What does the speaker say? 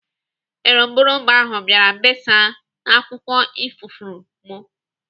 Eròmbụbara ahụ bịara besaa n'akwụkwọ ifuru m.